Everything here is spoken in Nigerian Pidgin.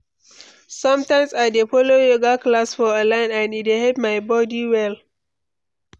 Sometimes I dey follow yoga class for online and e dey help my body well.